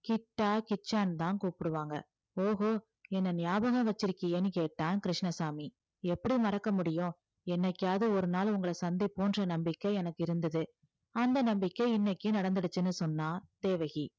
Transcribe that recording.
கிட்டா கிச்சான்னுதான் கூப்பிடுவாங்க ஓஹோ என்னை ஞாபகம் வச்சிருக்கியேன்னு கேட்டான் கிருஷ்ணசாமி எப்படி மறக்க முடியும் என்னைக்காவது ஒரு நாள் உங்களை சந்திப்போம்ன்ற நம்பிக்கை எனக்கு இருந்தது அந்த நம்பிக்கை இன்னைக்கு நடந்திருச்சுன்னு சொன்னா தேவகி